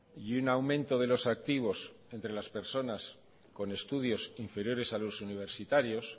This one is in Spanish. y un aumento de los activos entre las personas con estudios inferiores a los universitarios